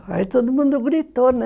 Aí todo mundo gritou, né?